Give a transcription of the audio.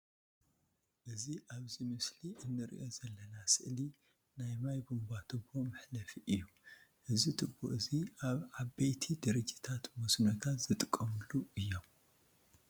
እዚ ኣብዚ ምስሊ አንርእዮ ዘለና ስእሊ ናይ ማይ ቡንቧትቦ መሕለፊ እዩ። እዚ ትቦ እዚ ኣብ ዓበይቲ ድርጅታት መስኖታት ዝጥቀመሉ እዩም።